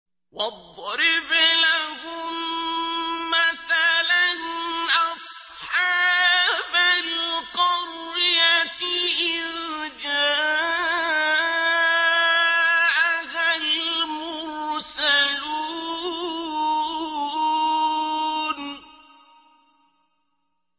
وَاضْرِبْ لَهُم مَّثَلًا أَصْحَابَ الْقَرْيَةِ إِذْ جَاءَهَا الْمُرْسَلُونَ